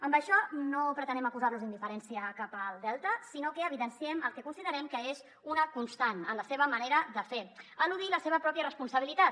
amb això no pretenem acusar los d’indiferència cap al delta sinó que evidenciem el que considerem que és una constant en la seva manera de fer eludir la seva pròpia responsabilitat